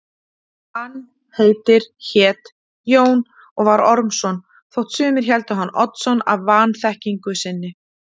Hann heitir, hét, Jón og var Ormsson þótt sumir héldu hann Oddsson af vanþekkingu sinni.